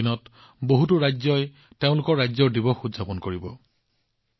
আগন্তুক দিনত বহুতো ৰাজ্যই তেওঁলোকৰ ৰাজ্য দিৱস উদযাপন কৰিব